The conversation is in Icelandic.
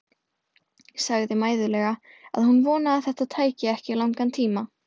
Sagði mæðulega að hún vonaði að þetta tæki ekki langan tíma.